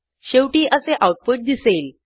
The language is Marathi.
शेवटी असे आऊटपुट दिसेल